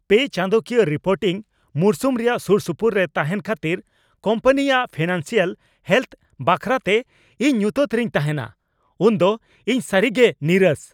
ᱯᱮ ᱪᱟᱸᱫᱚᱠᱤᱭᱟᱹ ᱨᱤᱯᱳᱨᱴᱤᱝ ᱢᱚᱨᱥᱩᱢ ᱨᱮᱭᱟᱜ ᱥᱩᱨᱥᱩᱯᱩᱨ ᱨᱮ ᱛᱟᱦᱮᱱ ᱠᱷᱟᱹᱛᱤᱨ ᱠᱳᱢᱯᱟᱱᱤᱼᱟᱜ ᱯᱷᱤᱱᱟᱱᱥᱤᱭᱟᱞ ᱦᱮᱞᱛᱷ ᱵᱟᱠᱷᱨᱟᱛᱮ ᱤᱧ ᱧᱩᱛᱟᱹᱛ ᱨᱮᱧ ᱛᱟᱦᱮᱱᱟ ᱩᱱ ᱫᱚ ᱤᱧ ᱥᱟᱹᱨᱤ ᱜᱮ ᱱᱤᱨᱟᱹᱥ ᱾